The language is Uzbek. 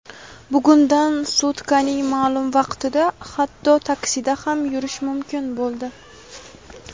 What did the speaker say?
bugundan sutkaning ma’lum vaqtida hatto taksida ham yurish mumkin bo‘ldi.